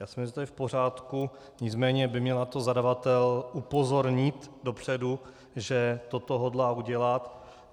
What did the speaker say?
Já si myslím, že to je v pořádku, nicméně by měl na to zadavatel upozornit dopředu, že toto hodlá udělat.